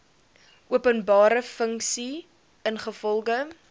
openbare funksie ingevolge